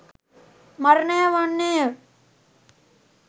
මරණය වන්නේය.